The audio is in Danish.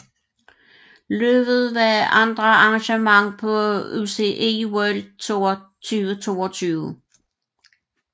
Løbet var andet arrangement på UCI World Tour 2022